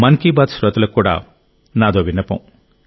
మన్ కీ బాత్ శ్రోతలకు కూడా నాకో విన్నపం